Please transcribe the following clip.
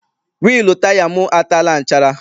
Wịịlụ taya m ataala nchara.